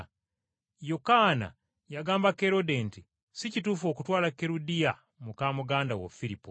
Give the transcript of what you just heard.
Yokaana yagamba Kerode nti, “Si kituufu okutwala Kerudiya muka muganda wo Firipo.”